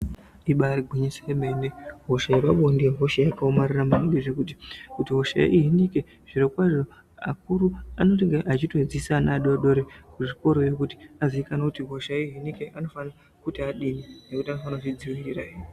Ibari gwinyiso remene hosha yepabonde Ihosha yakaomarara maningi zvekuti kuti hosha ihinike zvirokwazvo akuru anotenge achitodzidzisa ana adodori kuzvikoro yo kuti aziikanwe kuti hosha hinike anofanire kuti adini ngekuti anofanire kuzvidziirirahe.